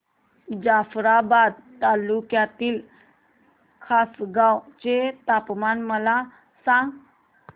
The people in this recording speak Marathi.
जाफ्राबाद तालुक्यातील खासगांव चे तापमान मला सांग